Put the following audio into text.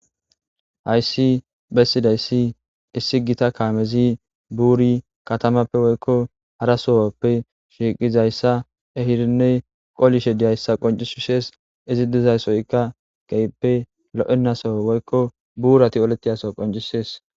hayssi bessidayssi issi gita kaamezi buuri katamappe woykko hara sohoppe shiiqizayssa ehirinne qolishe diyayssa qoncisishees izi diza soykka keehippe lo'enasoo woykko buurati olettiyaso qoncisees.